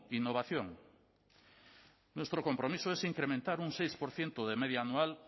innovación nuestro compromiso es incrementar un seis por ciento de media anual